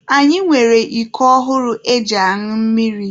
Anyị nwere iko ọhụrụ eji añụ mmiri.